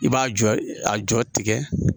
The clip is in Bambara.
I b'a jɔ a jɔ tigɛ